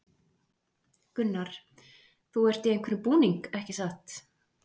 Gunnar: Þú ert í einhverjum búning, ekki satt?